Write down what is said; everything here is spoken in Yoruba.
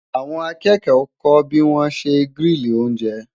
àwọn akẹkọ kò bi wọn ṣẹ grili oúnjẹ